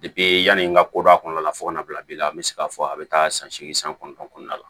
yanni n ka ko dɔ kɔnɔna la fo ka n'a bila bi la n bɛ se k'a fɔ a bɛ taa san segin san kɔnɔntɔn kɔnɔna la